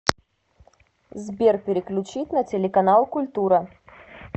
сбер переключить на телеканал культура